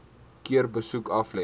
keer besoek aflê